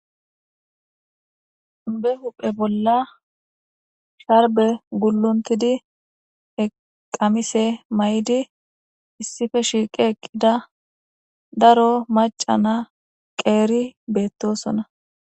Be huphe bola sharbe gulontida qamise mayidi issipe shiqi eqida daro mac'a na qeri betosona.